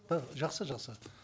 да жақсы жақсы